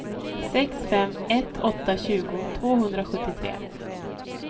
sex fem ett åtta tjugo tvåhundrasjuttiotre